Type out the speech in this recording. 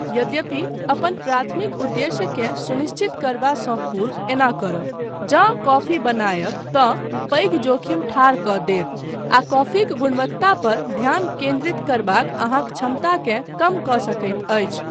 यद्यपि, अपन प्राथमिक उद्देश्यकेँ सुनिश्चित करबासँ पूर्व एना करब, जँ कॉफी बनायब, तँ पैघ जोखिम ठाढ़ कऽ देत आ कॉफीक गुणवत्ता पर ध्यान केन्द्रित करबाक अहाँक क्षमताकेँ कम कऽ सकैत अछि।